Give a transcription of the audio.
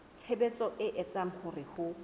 tshebetso e etsang hore ho